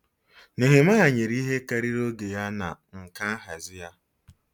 Nehemaya nyere ihe karịrị oge ya na nkà nhazi ya.